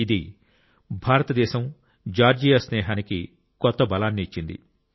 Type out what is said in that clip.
ఇది భారతదేశంజార్జియా స్నేహానికి కొత్త బలాన్ని ఇచ్చింది